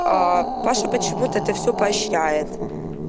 аа паша почему-то это всё поощеряет